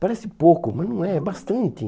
Parece pouco, mas não é. É bastante.